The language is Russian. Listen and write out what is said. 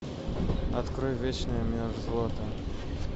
открой вечная мерзлота